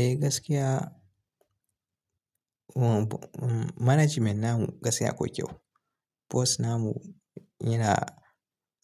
Eh gaskiya management namu gaskiya akwai kyau bos namu yana